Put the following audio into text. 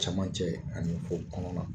Cɛmancɛ ani fɔ kɔnɔna